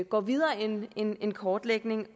går videre end end en kortlægning